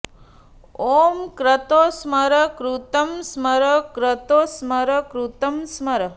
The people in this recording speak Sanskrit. ऊँ क्रतो स्मर कृतं स्मर क्रतो स्मर कृतं स्मर